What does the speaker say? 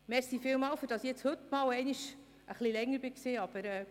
Vielen Dank, dass ich heute einmal ein wenig ausführlicher werden durfte.